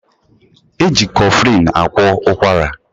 Eji kọflịn agwọ ụkwara